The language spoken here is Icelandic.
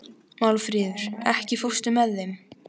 Málfríður, ekki fórstu með þeim?